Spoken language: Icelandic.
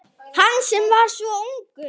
Hann sem var svo ungur.